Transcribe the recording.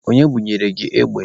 Onye bunyere gị egbe?